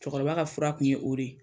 Cɛkɔrɔba ka fura tun ye o de ye.